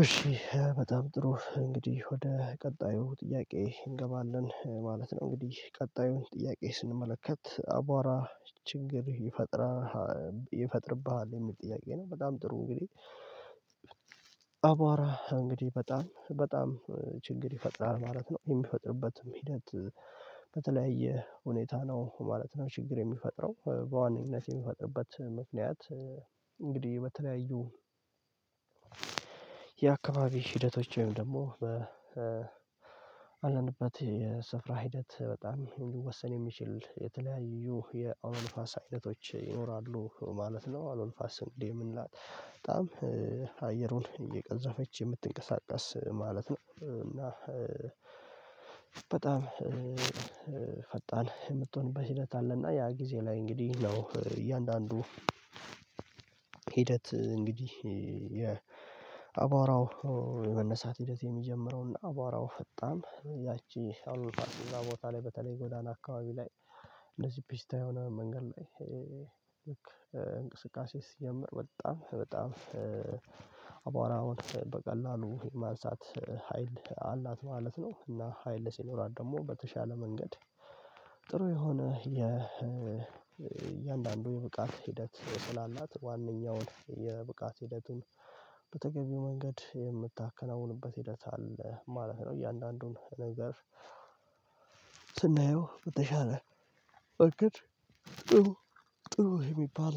እሺ በጣም ጥሩ እንግዲህ ወደ ቀጣዩ ጥያቄ እንገባለን ማለት ነው። እንግዲህ ቀጣዩን ጥያቄ ስንመለከት አቧራ ችግር ይፈጥርብሃል የሚል ጥያቄ ነው? በጣም ጥሩ እንግዲህ አቧራ እንግዲህ በጣም በጣም ችግር ይፈጥራል ማለት ነው። የሚፈጥርበትም ሂደት በተለያየ ሁኔታ ነው ማለት ነው። ችግር የሚፈጥረው በዋናነት የሚፈጥርበት ምክንያት እንግዲህ በተለያዩ የአካባቢ ሂደቶች ወይም ደግሞ በአለንበት የስፍራ ሂደት በጣም እንዲወሰን የሚችል የተለያዩ የአውሎ ንፋስ አይነቶች ይኖራሉ ማለት ነው። አውሎ ንፋስ ስንዴ የምንላት በጣም አየሩን እየቀዘፈች የምትንቀሳቀስ ማለት ነው። እና በጣም ፈጣን የምትሆንበት ሂደት አለ። እና ያ ጊዜ ላይ እንግዲህ ነው እያንዳንዱ ሂደት እንግዲህ የአባራው የመነሳት ሂደት የሚጀምረውና አቧራው ፈጣን ያቺ አዎሎ ንፋስ እዚያ ቦታ ላይ በተለይ ጎዳና አካባቢ ላይ እነዚህ ፒስታ የሆነ መንገድ ላይ እንቅስቃሴ ሲጀምር በጣም በጣም አቧራውን በቀላሉ ማሳት ሀይል አላት ማለት ነው። እና ሀይል ሲኖራት ደግሞ በተሻለ መንገድ ጥሩ የሆነ የእያንዳንዱ የብቃት ሂደት ስላላት ዋነኛው የብቃት ሂደቱን በተገቢው መንገድ የምታከናውንበት ሂደት አለ ማለት ነው። እያንዳንዱን ነገር ስናየው በተሻለ በእርግጥ ጥሩ ጥሩ የሚባል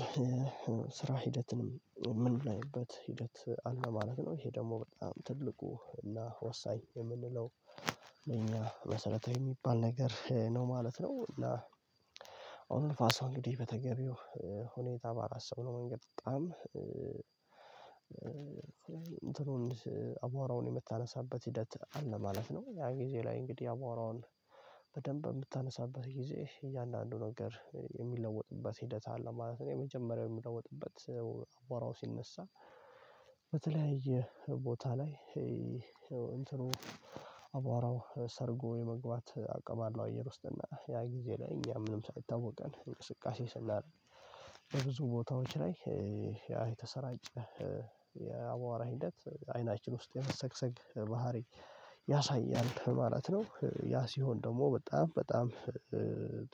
ስራ ሂደትን የምንለይበት ሂደት አለ ማለት ነው። ይሄ ደግሞ በጣም ትልቁ እና ወሳኝ የምንለው መሰረታዊ የሚባል ነገር ነው ማለት ነው። አዉሎንፋሷ እንግዲህ በተገቢው ሁኔታ በአላሰብነውም መንገድ በጣም እንትኑን አቧራውን የምታነሳበት ሂደት አለ ማለት ነው። ያ ጊዜ ላይ እንግዲህ አቧራውን በደንብ በምታነሳበት ጊዜ እያንዳንዱ ነገር የሚለወጥበት ሂደት አለ ማለት ነው። የመጀመሪያው የሚለወጥበት አቧራው ሲነሳ በተለያየ ቦታ ላይ ይሄ እንትኑ ሰርጎ የመግባት አቅም አለው አየር ውስጥ እና ያ ጊዜ ለእኛ ምንም ሳይታወቀን እንቅስቃሴ ስናደርግ በብዙ ቦታዎች ላይ ያ የተሰራጨ የአቧራ ሂደት አይናችን ውስጥ የመሰግሰግ ባህሪ ያሳያል ማለት ነው። ያ ሲሆን ደግሞ በጣም በጣም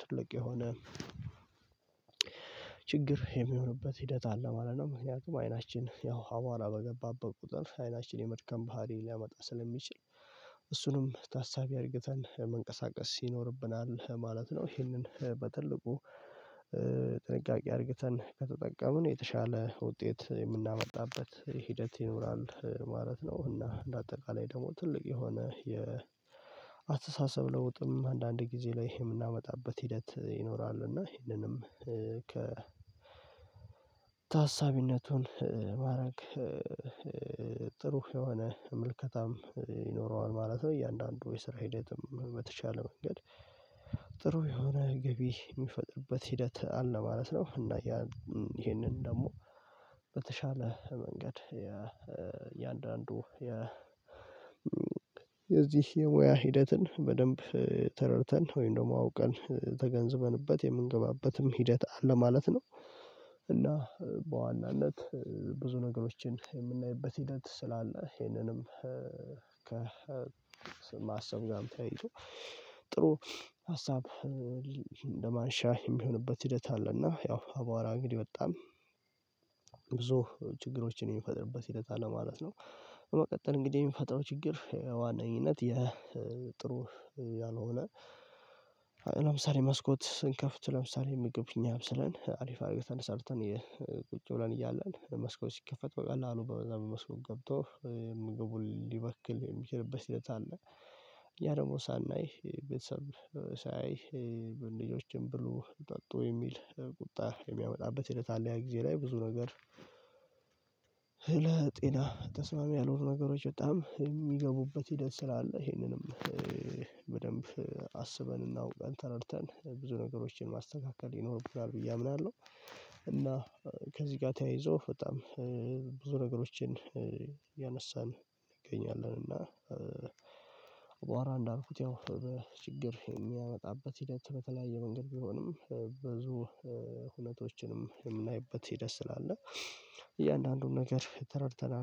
ትልቅ የሆነ ችግር የሚሆንበት ሂደት አለ ማለት ነው። ምክንያቱም አይናችን ያው አቧራ በገባበት ቁጥር አይናችን የመድከም ባህሪ ሊያመጣ ስለሚችል እሱንም ታሳቢ አድርገን መንቀሳቀስ ይኖርብናል ማለት ነው። ይህንን በትልቁ አድርገን ከተጠቀምን የተሻለ ውጤት የምናመጣበት ሂደት ይኖራል ማለት ነው። እና በአጠቃላይ ደግሞ ትልቅ የሆነ የአሰሳሰብ ለውጥም አንዳንድ ጊዜ ላይ የምናመጣበት ሂደት ይኖራል እና ይሄንንም ከ ታሳቢነቱን ማድረግ ጥሩ የሆነ መልከታም ይኖረዋል ማለት ነው። እያንዳንዱ የስራ ሂደትም በተሻለ መንገድ ጥሩ የሆነ ገቢ የሚፈጥርበት ሂደት አለ ማለት ነው። እና ይሄንን ደግሞ በተሻለ መንገድ የእያንዳንዱ የዚህ የሙያ ሂደትን በደንብ ተረድተን ወይም ደግሞ አውቀን ተገንዝበንበት የምንገባበትም ሂደት አለ ማለት ነው። እና በዋናነት ብዙ ነገሮችን የምናይበት ሂደት ስላለ ይሄንንም ከማሰብ ጋርም ተያይዞ ጥሩ ሀሳብ እንደማንሻ የሚሆንበት ሂደት አለ እና ያው አቧራ እንግዲህ በጣም ብዙ ችግሮችን የሚፈጥርበት ሂደት አለ ማለት ነው። በመቀጠል እንግዲህ የሚፈጥረው ችግር በዋነኝነት የጥሩ ያልሆነ ለምሳሌ መስኮት ስንከፍት ለምሳሌ ምግብ እኛ አብስለን አሪፍ አድርገን ሰርተን ቁጭ ብለን እያለን መስኮት ሲከፈት በቀላሉ በዛ በመስኮት ገብቶ ምግቡን ሊበክል የሚችልበት ሂደት አለ ያ ደግሞ ሳናይ ቤተሰብ ሳያይ ልጆችን ብሉ ጠጡ የሚል ቁጣ የሚያመጣበት ሂደት አለ ያ ጊዜ ላይ ብዙ ነገር ለጤና ተስማሚ ያልሆኑ ነገሮች በጣም የሚገቡበት ሂደት ስላለ ይሄንንም በደንብ አስበን እና አዉቀን ተረድተን ብዙ ነገሮችን ማስተካከል ይኖርብናል ብዬ አምናለሁ። እና ከዚህ ጋር ተያይዞ በጣም ብዙ ነገሮችን ያነሳን እንገኛለን እና እንዳልኩት ያው በችግር የሚያመጣበት ሂደት በተለያየ መንገድ ቢሆንም ብዙ ሁነቶችንም የምናይበት ሂደት ስላለ እያንዳንዱን ነገር ተረድተናል